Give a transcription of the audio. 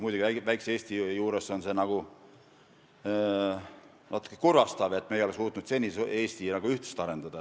Muidugi, väikses Eestis on natukene kurvastav, et me ei ole suutnud seni ühtsust arendada.